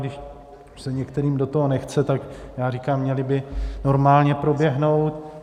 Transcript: Když se některým do toho nechce, tak já říkám, měly by normálně proběhnout.